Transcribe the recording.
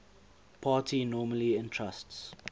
party normally entrusts